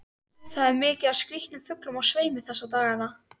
Það er mikið af skrýtnum fuglum á sveimi þessa dagana.